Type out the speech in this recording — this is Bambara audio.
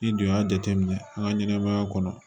N'i dun y'a jateminɛ an ka ɲɛnɛmaya kɔnɔ